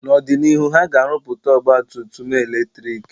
N'ọdịnihu, ha ga-arụpụta ọgba tum tum eletrik